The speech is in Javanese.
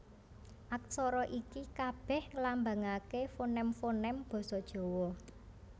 Aksara iki kabèh nglambangaké foném foném basa Jawa